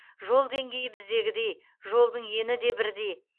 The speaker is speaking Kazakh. жол деңгейі біздегідей жолдың ені де бірдей